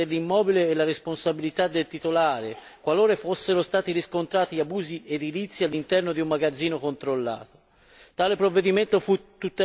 Questa misura prevedeva la confisca dell'immobile e la responsabilità del titolare qualora fossero stati riscontrati abusi edilizi all'interno di un magazzino controllato.